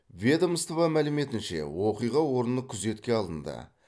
ведомство мәліметінше оқиға орны күзетке алынды